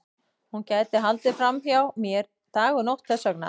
Hún gæti haldið fram hjá mér dag og nótt þess vegna.